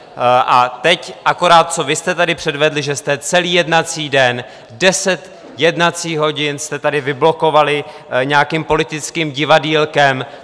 A teď akorát co vy jste tady předvedli, že jste celý jednací den, deset jednacích hodin jste tady vyblokovali nějakým politickým divadýlkem.